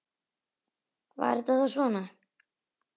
Var þetta þá svona?